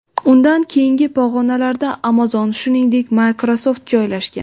Undan keyingi pog‘onalarda Amazon, shuningdek, Microsoft joylashgan.